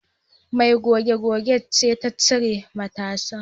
Mai goge gogen ce ta cire matasan